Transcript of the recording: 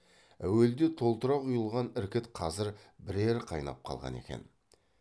әуелде толтыра құйылған іркіт қазір бірер қайнап қалған екен